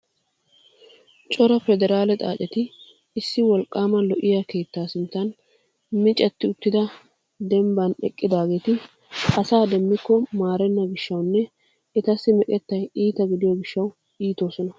Cora pederaale xaaceti issi wolqqaama lo"iya keettaa sinttan micetti uttida dembban eqqidaageeti asa demmikko maarenna gishshawunne etassi meqettay iita gidiyo gishshawu iitoosona.